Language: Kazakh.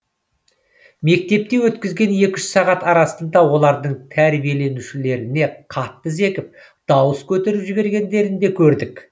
мектепте өткізген екі үш сағат арасында олардың тәрбиеленушілеріне қатты зекіп дауыс көтеріп жібергендерін де көрдік